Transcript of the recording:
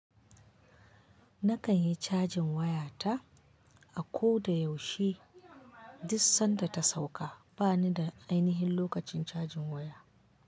Na kan yi cajin waya ta a ko da yaushe, duk sanda ta sauka. Ba ni da ainihin lokacin cajin waya.